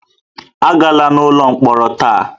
Agala n'ụlọ mkpọrọ taa!